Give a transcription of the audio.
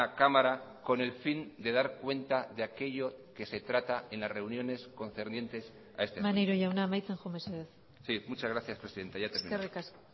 cámara con el fin de dar cuenta de aquello que se trata en las reuniones concernientes a este asunto maneiro jauna amaitzen joan mesedez sí muchas gracias presidenta ya termino